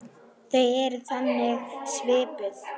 Þau eru þannig skipuð.